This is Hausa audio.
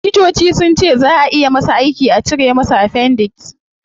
Likitoci sunce zaa ayi masa aiki a cire masa appendix